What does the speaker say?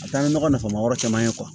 A ka di nɔgɔ nafama wɛrɛ caman ye